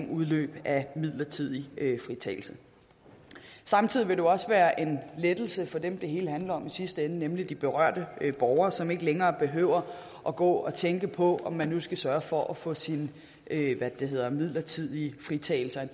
udløb af midlertidig fritagelse samtidig vil det jo også være en lettelse for dem det hele handler om i sidste ende nemlig de berørte borgere som ikke længere behøver at gå og tænke på om man nu skal sørge for at få sin midlertidige fritagelse